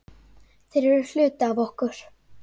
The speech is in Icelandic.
Þeir eru hluti af okkur.